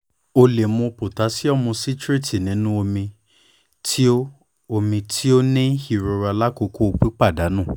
o le mu potasiomu citrate ninu omi ti o omi ti o ba ni irora lakoko pipadanu